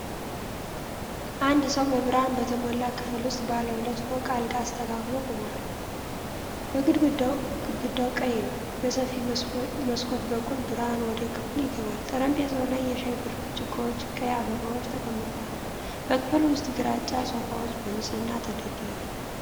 አንድ ሰው በብርሃን በተሞላ ክፍል ውስጥ ባለ ሁለት ፎቅ አልጋ አስተካክሎ ቆሟል። ግድግዳው ቀይ ነው፤ በሰፊ መስኮት በኩል ብርሃን ወደ ክፍሉ ይገባል። ጠረጴዛው ላይ የሻይ ብርጭቆዎችና ቀይ አበባዎች ተቀምጠዋል። በክፍሉ ውስጥ ግራጫ ሶፋዎች በንጽህና ተደርድረዋል።